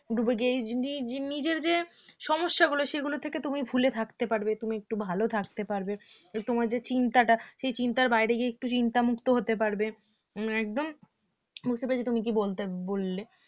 ডুবে গিয়ে নি~ নিজের যে সমস্যাগুলো সেগুলো থেকে তুমি ভুলে থাকতে পারবে তুমি একটু ভাল থাকতে পারবে তোমার যে চিন্তাটা সেই চিন্তার বাইরে গিয়ে একটু চিন্তামুক্ত হতে পারবে একদম বুঝতে পেরেছি তুমি কি বলতে বললে